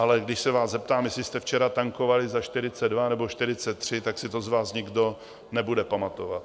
Ale když se vás zeptám, jestli jste včera tankovali za 42 nebo 43, tak si to z vás nikdo nebude pamatovat.